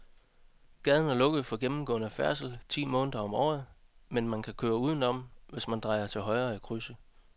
Gaden er lukket for gennemgående færdsel ti måneder om året, men man kan køre udenom, hvis man drejer til højre i krydset.